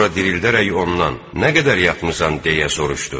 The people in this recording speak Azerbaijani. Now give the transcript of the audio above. Sonra dirildərək ondan: Nə qədər yatmısan, deyə soruşdu.